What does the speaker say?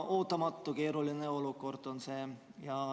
Ootamatu ja keeruline olukord tekib.